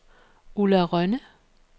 Ulla Rønne